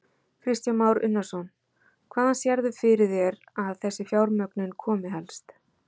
Kristján Már Unnarsson: Hvaðan sérðu fyrir þér að þessi fjármögnun komi helst?